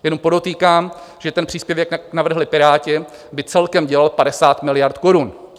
Jenom podotýkám, že ten příspěvek, jak navrhli Piráti, by celkem dělal 50 miliard korun.